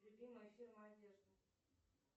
любимая фирма одежды